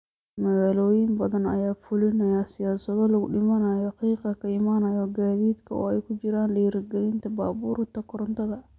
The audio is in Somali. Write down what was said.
Magaalooyin badan ayaa fulinaya siyaasado lagu dhimayo qiiqa ka imaanaya gaadiidka, oo ay ku jiraan dhiirigelinta baabuurta korontada.